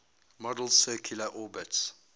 model's circular orbits